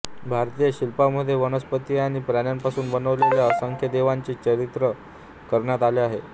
भारतीय शिल्पांमध्ये वनस्पती आणि प्राण्यांपासून बनवलेल्या असंख्य देवतांचे चित्रण करण्यात आले आहे